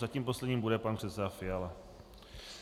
Zatím posledním bude pan předseda Fiala.